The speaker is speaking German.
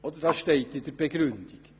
» Das ist die Begründung.